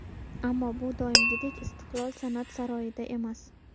Ammo bu doimgidek ‘Istiqlol’ san’at saroyida emas.